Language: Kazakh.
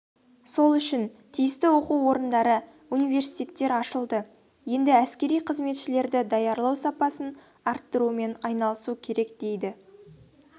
сол үшін тиісті оқу орындары университеттер ашылды енді әскери қызметшілерді даярлау сапасын арттырумен айналысу керек деді